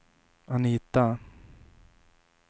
Anita